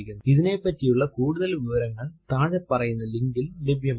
ഇതിനെപ്പറ്റിയുള്ള കൂടുതൽ വിവരങ്ങൾ താഴെ പറയുന്ന ലിങ്കിൽ ലഭ്യമാണ്